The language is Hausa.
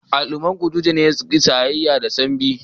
Al'umman kutuje suna jayayya da Sambi.